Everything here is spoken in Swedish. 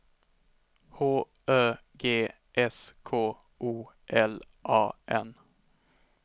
H Ö G S K O L A N